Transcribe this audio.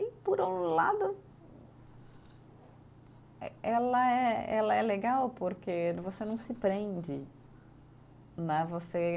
E, por um lado, eh ela é, ela é legal porque você não se prende né, você.